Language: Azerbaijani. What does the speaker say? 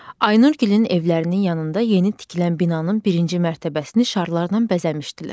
Aynur gilən evlərinin yanında yeni tikilən binanın birinci mərtəbəsini şarlarla bəzəmişdilər.